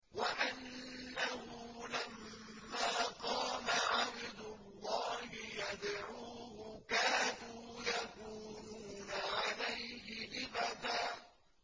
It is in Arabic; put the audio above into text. وَأَنَّهُ لَمَّا قَامَ عَبْدُ اللَّهِ يَدْعُوهُ كَادُوا يَكُونُونَ عَلَيْهِ لِبَدًا